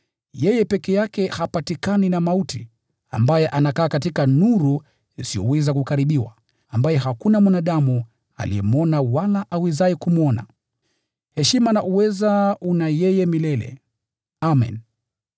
yeye peke yake ambaye hapatikani na mauti, na anakaa katika nuru isiyoweza kukaribiwa, ambaye hakuna mwanadamu aliyemwona wala awezaye kumwona. Heshima na uweza una yeye milele. Amen.